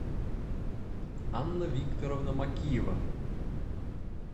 анна викторовна макиева